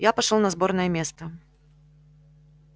я пошёл на сборное место